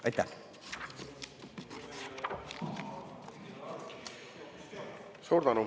Aitäh!